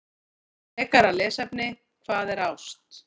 Frekara lesefni: Hvað er ást?